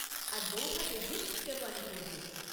আর বউভাতের দিন শেরওয়ানি পরবে।